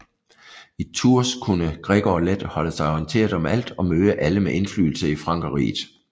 I Tours kunne Gregor let holde sig orienteret om alt og møde alle med indflydelse i Frankerriget